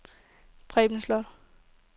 Preben Slot